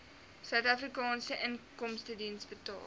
suidafrikaanse inkomstediens betaal